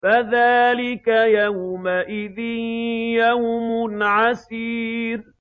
فَذَٰلِكَ يَوْمَئِذٍ يَوْمٌ عَسِيرٌ